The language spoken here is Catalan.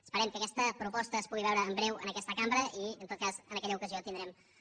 esperem que aquesta proposta es pugui veure en breu en aquesta cambra i en tot cas en aquella ocasió podrem fer el debat